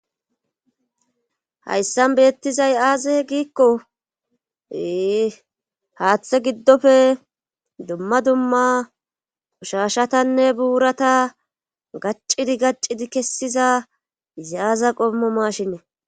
Hayssan beettizay aaze giikko e haaththe giddofe dumma dumma qushashatanne buurata gaccidi gaccidi kessiza zayaaza qommo mashine